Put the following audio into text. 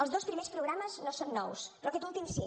els dos primers programes no són nous però aquest últim sí